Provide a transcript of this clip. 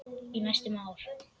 Í næstum ár.